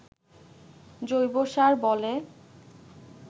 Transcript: জৈবসার বলে